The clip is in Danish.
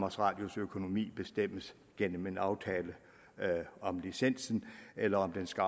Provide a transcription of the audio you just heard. radios økonomi bestemmes gennem en aftale om licensen eller om den skal